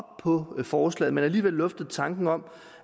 på forslaget men alligevel luftede tanken om